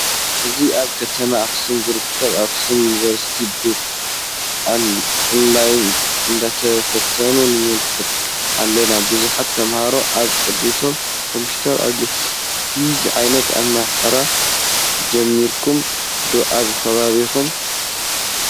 እዚ ኣብ ከተማ ኣክሱም ዝርከብ ኣክሱም ዩኒቨርስቲ ብ ኦን ላይን እነዳተፈተኑ ንምልከት ኣለና ።ቡዝሓት ተምሃሮ አብ ቅድሚቶም ኮምፔተር ኣለዋ። ከምዚ ዓይነት ኣማህራ ጀሚረኩም ዶ ኣብ ከባቢኩም?